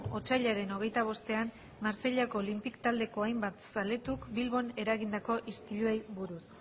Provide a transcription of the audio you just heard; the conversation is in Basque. otsailaren hogeita bostean marseillako olympique taldeko hainbat zaletuk bilbon eragindako istiluei buruz